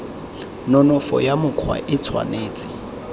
nonofo ya mokgwa e tshwanetse